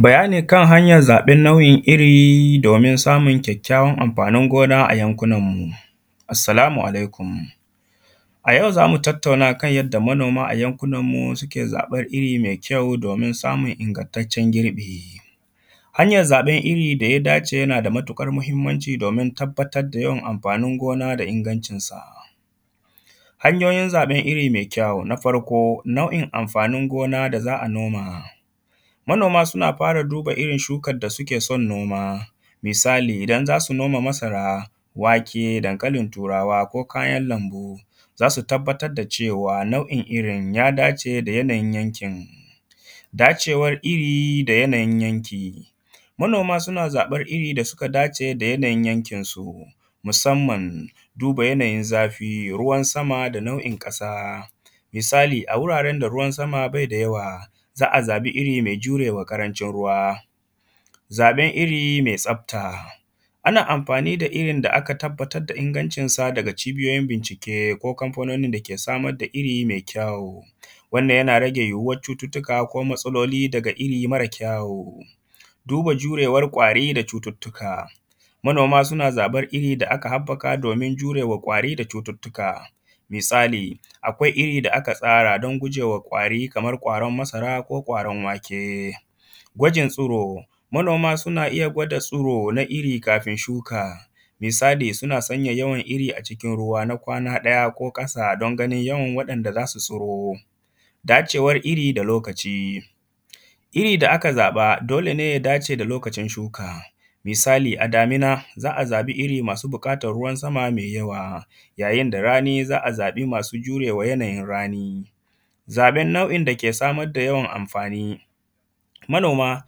Bayani kan hanyar zaɓen nau’in iri domin samun kyakkyawan amfanin gona a yankunanmu. Assalamu alaikum. A yau za mu tattauna kan a yadda manoma a yankunanmu suke zaɓar iri mai kyau domin samun ingantaccen girbi. Hanyar zaɓen iri da ya dace yana da matuƙar muhimmanci da domin tabbatar da yawan amfanin gona da ingancinsa. Hanyoyin zaɓen iri mai kyau. Na farko, nau’in amfanin gona da za a noma. Manoma suna fara duba irin shukar da suke son noma. Misali, idan za su noma masara, wake, dankalin Turawa, ko kayan lambu, za su tabbatar da cewa irin ya dace da yanayin yankin. Dacewar iri da yanayin yanki. Manoma suna zaɓar iri da suka dace da yanayin yankinsu, musamman, duba yanayin zafi, ruwan sama da nau’in ƙasa. Misali, a wuraren da ruwan sama bai da yawa, za a zaɓi iri mai jure wa ƙarancin ruwa. Zaɓen iri mai tsabta. Ana amfani da irin da aka tabbatar da ingancinsa daga cibiyoyin bincike, ko Kamfanonin da ke samar da iri mai kyawu. Wannan yana rage yuwuwar cututtuka ko matsaloli mara kyawu. Duba jurewar ƙwari da cututtuka. Manoma suna zaɓar iri da aka haɓɓaka domin jure wa ƙwari da cututtuka. Misali, akwai iri da aka tsara don guje wa ƙwari kamar ƙwaron masara ko ƙwaron wake. Gwajin tsiro. Manoma suna iya gwada tsiro na iri kafin shuka. Misali suna sanya yawan iri a cikin ruwa na kwana ɗaya ko ƙasa don ganin yawan waɗanda za su tsiro. Dacewar iri da lokaci. Iri da aka zaɓa, dole ne ya dace da lokacin shuka. Misali, a damina, za a zaɓi iri masu buƙatar ruwan sama mai yawa. Yayin da rani za a zaɓi masu jure wa yanayin rani. Zaɓen nau’in da ke samar da yawan amfani. Manoma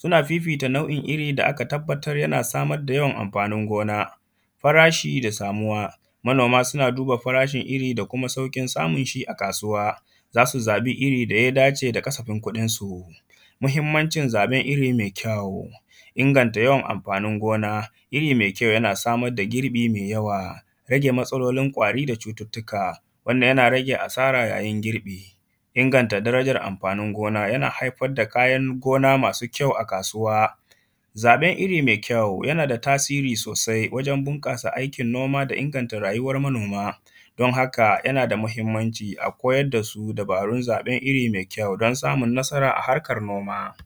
suna fifita nau’in iri da aka tabbatar yana samar da yawan amfanin gona. Farashi da samuwa. Manoma suna duba farashin iri da kuma sauƙin samun shi a kasuwa. Za su zaɓi iri da ya dace da kasafin kuɗinsu. Muhimmancin zaɓen iri mai kyawu. Inganta yawan amfanin gona; iri mai kyau yana samar da girbi mai yawa; rage matsalolin ƙwari da cututtuka, wannan yana rage asara yayin girbi. Inganta darajar amfanin gona yana haifar da kayan gona masu kyau a kasuwa. Zaɓen iri mai kyau, yana da tasiri sosai wajen bunƙasa aikin noma da inganta rayuwar manoma. Don haka, yana da muhimmanci, a koyar da su dabarun zaɓen iri mai kyau, don samun nasara a harkar noma.